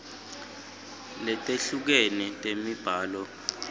letehlukene temibhalo sib